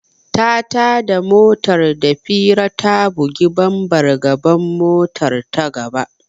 Ta tada motar da fira ta bugi bambar gaban motar ta gaba.